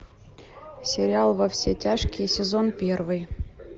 сериал во все тяжкие сезон первый